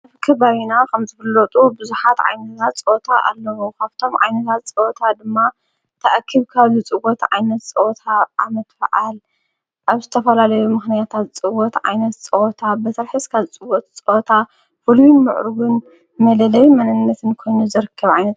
ኣብከ በይና ኸም ዘፍሎጡ ብዙኃት ዓይነዛዝ ጸወታ ኣለዉ ኻብቶም ዓይንታት ዝጸወታ ድማ ተኣኪብካ ዝጽወት ዓይነት ጸወታ ዓመትፍዓል ኣብስተፈላለዩ ምኽንያታት ዝጽወት ዓይነት ጸወታ በሠርሕስካ ዝጽወት ጸወታ ፍሉዩ ምዕሩግን መደለይ መነነትን ኮኑ ዘርክብ ዓይነን።